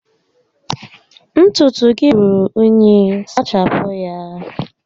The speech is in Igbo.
Ntutu gị rúrú únyí, sachapụ ya!